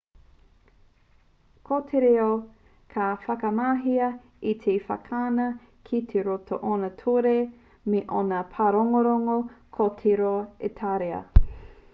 ko te reo ka whakamahia e te whatikana ki roto i ōna ture me ōna pārongorongo ko te reo itāria